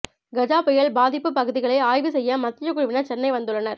கஜா புயல் பாதிப்பு பகுதிகளை ஆய்வு செய்ய மத்திய குழுவினர் சென்னை வந்துள்ளனர்